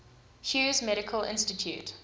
hughes medical institute